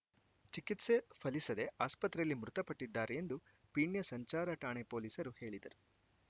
ಚಿಕಿತ್ಸೆ ಫಲಿಸದೇ ಆಸ್ಪತ್ರೆಯಲ್ಲಿ ಮೃತಪಟ್ಟಿದ್ದಾರೆ ಎಂದು ಪೀಣ್ಯ ಸಂಚಾರ ಠಾಣೆ ಪೊಲೀಸರು ಹೇಳಿದರು